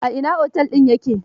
A ina otel din ya ke?